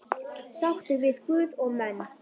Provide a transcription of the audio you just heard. Sáttur við guð og menn.